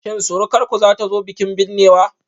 Shin surukarku zata zo bikin binnewa?